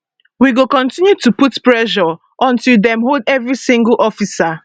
we go continue to put pressure until dem hold every single officer